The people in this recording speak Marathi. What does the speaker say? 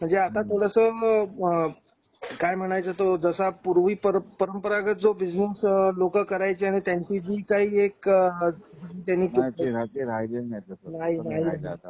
म्हणजे आता तो जसं काय म्हणायचा तो जसा पूर्वी परंपरागत जो बिझनेस लोकं करायची आणि त्यांची जी काही एक त्यांनी हा ती राहती राहिली नाही आता तो नाही नाही